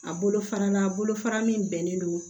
A bolo fara la bolofara min bɛnnen don